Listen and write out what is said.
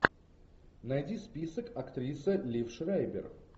найди список актриса лив шрайбер